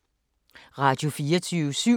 Radio24syv